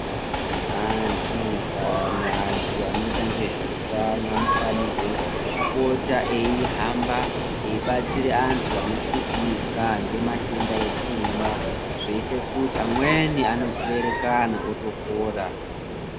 Antu kana antu anoita ngezveutano anofanirwe kupota eihamba eibatsira antu anoshika ngematenda epfungwa zveiita kuti amweni anozotoerekana atopora.